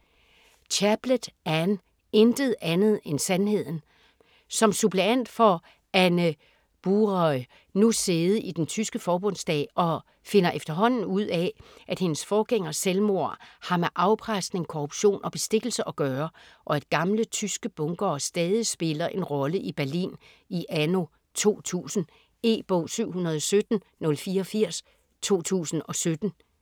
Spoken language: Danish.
Chaplet, Anne: Intet andet end sandheden Som suppleant får Anne Buraü nu sæde i den tyske Forbundsdag og finder efterhånden ud af, at hendes forgængers selvmord har med afpresning, korruption og bestikkelse at gøre, og at gamle tyske bunkere stadig spiller en rolle i Berlin i anno 2000. E-bog 717084 2017.